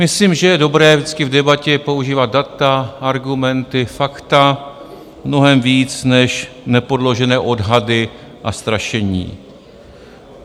Myslím, že je dobré vždycky v debatě používat data, argumenty, fakta mnohem víc než nepodložené odhady a strašení.